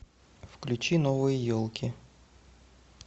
включи новые елки